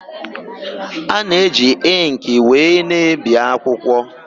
A na-eji ịnkị wee na-ebi akwụkwọ.